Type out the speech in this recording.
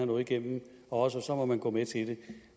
noget igennem og så måtte man gå med til det